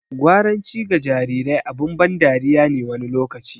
Gwaranci ga jarirai abin ban dariya ne wani lokaci.